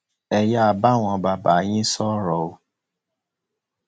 ẹ yáa bá àwọn bàbá yín sọrọ o